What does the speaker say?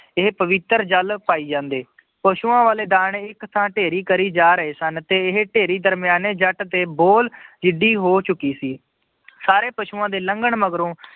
ਇਹ ਪਵਿੱਤਰ ਜਲ ਪਾਈ ਜਾਂਦੇ ਪਸੂਆਂ ਵਾਲੇ ਦਾਣੇ ਇੱਕ ਥਾਂ ਢੇਰੀ ਕਰੀ ਜਾ ਰਹੇ ਸਨ, ਤੇ ਇਹ ਢੇਰੀ ਦਰਮਿਆਨੇ ਜੱਟ ਤੇ ਬੋਲ ਜਿੱਡੀ ਹੋ ਚੁੱਕੀ ਸੀ, ਸਾਰੇ ਪਸੂਆਂ ਦੇ ਲੰਘਣ ਮਗਰੋਂ